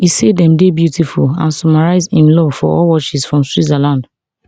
e say dem dey beautiful and summarise im love for all watches from switzerland